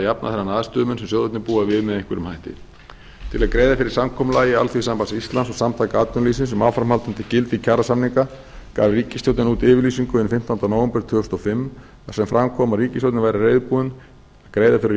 jafna þennan aðstöðumun sem sjóðirnir búa við með einhverjum hætti til að greiða fyrir samkomulagi alþýðusambands íslands og samtaka atvinnulífsins um áframhaldandi gildi kjarasamninga gaf ríkisstjórnin út yfirlýsingu hinn fimmtánda nóvember tvö þúsund og fimm þar sem fram kom að ríkisstjórnin væri reiðubúin að greiða fyrir